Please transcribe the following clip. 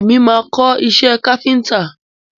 Èmi máa kọ́ iṣé káfíńńtà.